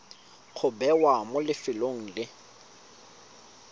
go bewa mo lefelong le